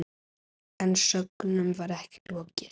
En sögnum var ekki lokið.